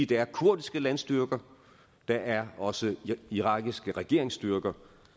der er kurdiske landstyrker der er også irakiske regeringsstyrker